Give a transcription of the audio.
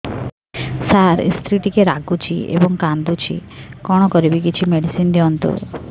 ସାର ସ୍ତ୍ରୀ ଟିକେ ରାଗୁଛି ଏବଂ କାନ୍ଦୁଛି କଣ କରିବି କିଛି ମେଡିସିନ ଦିଅନ୍ତୁ